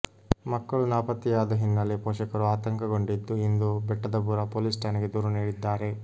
ಮಕ್ಕಳು ನಾಪತ್ತೆಯಾದ ಹಿನ್ನೆಲೆ ಪೋಷಕರು ಆತಂಕಗೊಂಡಿದ್ದು ಇಂದು ಬೆಟ್ಟದಪುರ ಪೊಲೀಸ್ ಠಾಣೆಗೆ ದೂರು ನೀಡಿದ್ದಾರೆ